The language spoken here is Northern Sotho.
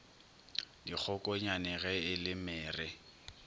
dikgokonyane ge e le mere